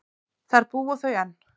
Þar búa þau enn.